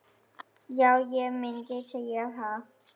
Já, ég myndi segja það.